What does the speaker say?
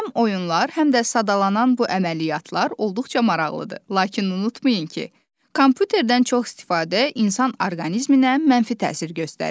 Həm oyunlar, həm də sadalanan bu əməliyyatlar olduqca maraqlıdır, lakin unutmayın ki, kompüterdən çox istifadə insan orqanizminə mənfi təsir göstərir.